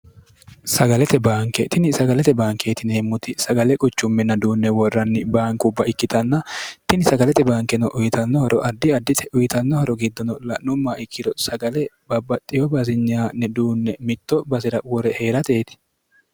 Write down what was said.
sagalete baanke tini sagalete baankeetinihemmuti sagale quchumminna duunne worranni baankubba ikkitanna tini sagalete baankeno uyitannohoro addi addite uyitannohoro giddono la'nummaa ikkiro sagale babbaxxiyo baazinyaanne duunne mitto basi'ra wore hee'rateeti